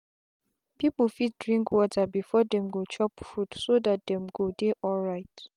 people fit drink water before them go chop foodso that them go dey alright.